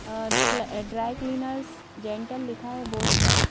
अ dry cleaners gentle लिखा है board पर--